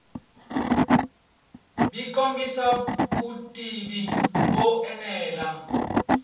byi kombisa vutivi byo enela